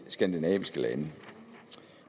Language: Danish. skandinaviske lande